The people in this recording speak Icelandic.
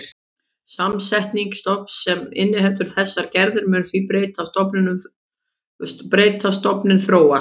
Samsetning stofns sem inniheldur þessar gerðir mun því breytast, stofninn þróast.